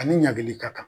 Ani ɲagami ka kan